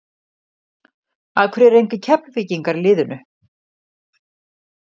Af hverju eru engir Keflvíkingar í liðinu?